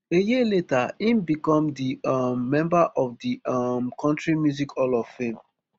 a year later im become di um member of di um country music hall of fame